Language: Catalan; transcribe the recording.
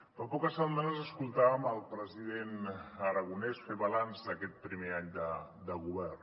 fa poques setmanes escoltàvem el president aragonès fer balanç d’aquest pri·mer any de govern